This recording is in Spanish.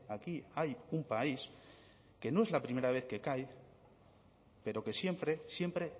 aquí hay un país que no es la primera vez cae pero que siempre siempre